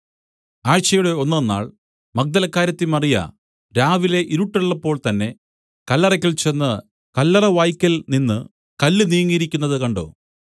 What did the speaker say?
ആഴ്ചയുടെ ഒന്നാം നാൾ മഗ്ദലക്കാരത്തി മറിയ രാവിലെ ഇരുട്ടുള്ളപ്പോൾ തന്നേ കല്ലറയ്ക്കൽ ചെന്ന് കല്ലറവായ്ക്കൽ നിന്ന് കല്ല് നീങ്ങിയിരിക്കുന്നത് കണ്ട്